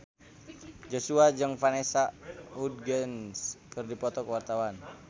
Joshua jeung Vanessa Hudgens keur dipoto ku wartawan